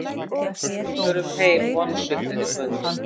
Við förum heim vonsviknir í kvöld